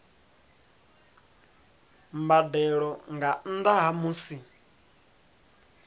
mbadelo nga nnda ha musi